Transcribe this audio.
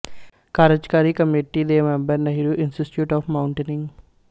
ਕਾਰਜਕਾਰੀ ਕਮੇਟੀ ਦੇ member Nehru institute of ਮਾਉਂਟੇਨਿੰਗ